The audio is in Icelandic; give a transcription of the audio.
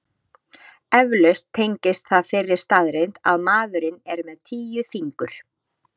Eflaust tengist það þeirri staðreynd að maðurinn er með tíu fingur.